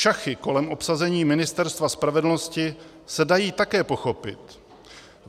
Šachy kolem obsazení Ministerstva spravedlnosti se dají také pochopit.